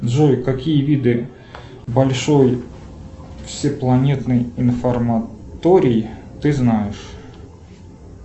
джой какие виды большой всепланетный информаторий ты знаешь